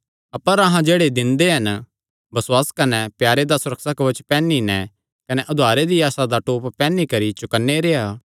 अपर अहां जेह्ड़े दिन दे हन बसुआसे कने प्यारे दा सुरक्षा कवच पैहनी नैं कने उद्धारे दी आसा दा टोप पैहनी करी चौकन्ने रेह्आ